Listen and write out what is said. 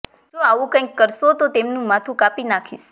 જો આવું કંઈક કરશો તો તેમનું માથું કાપી નાખીશ